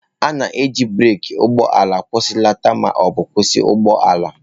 A na-eji breeki ụgbọ ala akwụsịlata ma ọ bụ kwụsị ụgbọ ala.